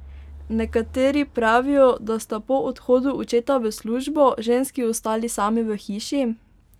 Nekateri pravijo, da sta po odhodu očeta v službo, ženski ostali sami v hiši.